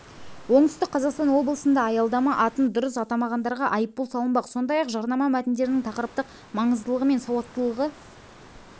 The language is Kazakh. оңтүстік қазақстан облысында аялдама атын дұрыс атамағандарға айыппұл салынбақ сондай-ақ жарнама мәтіндерінің тақырыптық маңыздылығы мен сауаттылығы